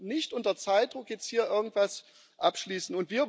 Wir sollten nicht unter Zeitdruck jetzt hier irgendwas abschließen.